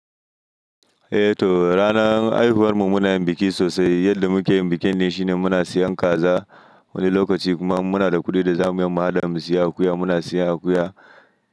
Eh to, ranar haihuwar mu muna yin biki sosai. Yadda muke yin bikin ne shine muna siyan kaza wani lokaci kuma in muna da kuɗi da za mu yi mu haɗa mu siya akuya, muna siya akuya.